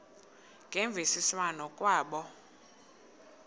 ngemvisiswano r kwabo